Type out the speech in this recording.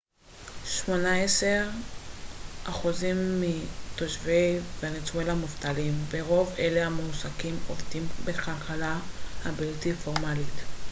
שמונה עשר אחוזים מתושבי ונצואלה מובטלים ורוב אלה המועסקים עובדים בכלכלה הבלתי פורמלית